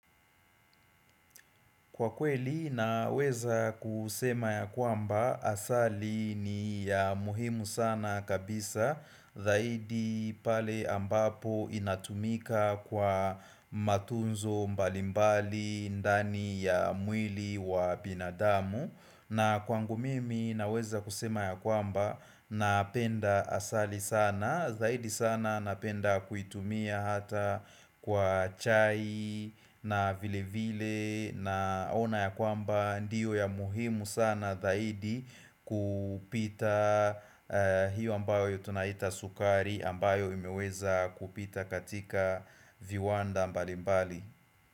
Kwa kweli naweza kusema ya kwamba asali ni ya muhimu sana kabisa Zaidi pale ambapo inatumika kwa matunzo mbalimbali ndani ya mwili wa binadamu na kwangu mimi naweza kusema ya kwamba napenda asali sana zaidi sana napenda kuitumia hata kwa chai na vile vile naona ya kwamba ndiyo ya muhimu sana zaidi kupita hiyo ambayo tunaita sukari ambayo imeweza kupita katika viwanda mbalimbali.